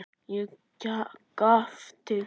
Ég gapti.